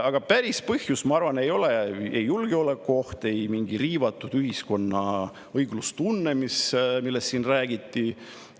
Aga päris põhjus, ma arvan, ei ole ei julgeolekuoht ega mingi ühiskonna riivatud õiglustunne, millest siin räägiti.